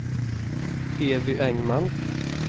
Evy Engman